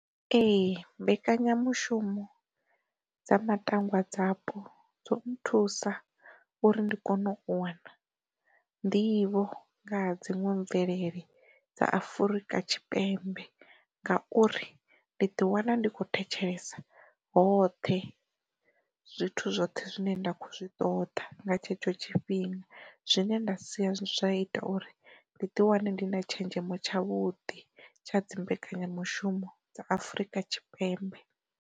Ee mbekanyamushumo dza matangwa dzapo dzo nnthusa uri ndi kone u wana nḓivho nga ha dziṅwe mvelele dza Afurika Tshipembe ngauri, ndi ḓi wana ndi kho thetshelesa hoṱhe zwithu zwoṱhe zwine nda kho zwi ṱoda nga tshetsho tshifhinga, zwine nda si zwa ita uri ndi ḓi wane ndi na tshenzhemo tsha vhudi tsha dzi mbekenyamushumo dza Afurika Tshipembe.